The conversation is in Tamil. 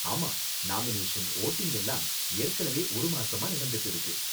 ஆமா, நாமினேஷன், வோட்டிங் எல்லாம் ஏற்கனவே ஒரு மாசமா நடந்துட்டு இருக்கு.